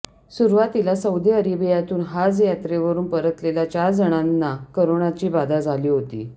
सुरुवातीला सौदी अरेबियातून हाज यात्रेवरून परतलेल्या चार जणांना कोरोनाची बाधा झाली होती